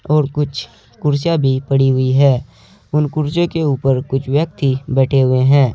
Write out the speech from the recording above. और कुछ कुर्सियां भी पड़ी हुई है उन कुर्सियों के ऊपर कुछ व्यक्ति बैठे हुए हैं।